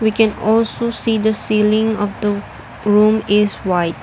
we can also see the ceiling of the room is white.